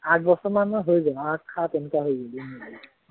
আঠ বছৰমান হৈ গল আঠ সাত এনেকুৱা